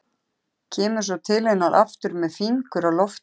Kemur svo til hennar aftur með fingur á lofti.